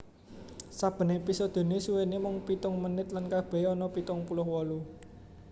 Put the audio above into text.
Saben èpisodené suwéné mung pitung menit lan kabèhé ana pitung puluh wolu